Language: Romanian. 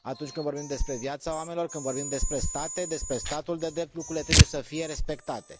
Atunci când vorbim despre viața oamenilor, când vorbim despre state, despre statul de drept, lucrurile trebuie să fie respectate.